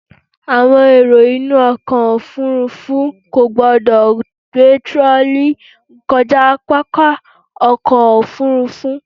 Àwọn èrò inú ọkọ̀ òfúrúfú kò gbọdọ̀ gbé tirọlí kọjá pápá ọkọ̀ òfúrúfú.